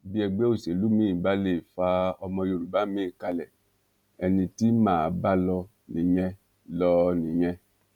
bí ẹgbẹ òṣèlú miín bá lè fa ọmọ yorùbá miín kalẹ ẹni tí mà á bá lọ nìyẹn lọ nìyẹn